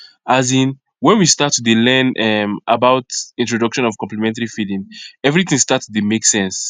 azinnwhen we start to dey learn um about introduction of complementary feeding everything start to dey make sense